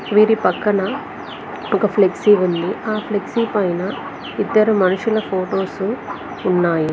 వీరి పక్కన ఒక ఫ్లెక్సీ ఉంది ఆ ఫ్లెక్సీ పైన ఇద్దరు మనుషుల ఫొటోస్ ఉన్నాయి.